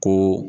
Ko